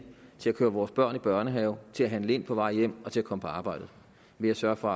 til at køre vores børn i børnehave til at handle ind på vej hjem og til at komme på arbejde ved at sørge for